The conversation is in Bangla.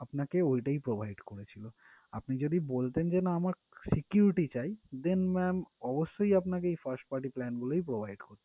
আপনাকে ওইটাই provide করেছিলো আপনি যদি বলতেন যে না আমার security চাই then ma'am অবশ্যই আপনাকে first party plan গুলোই provide করতো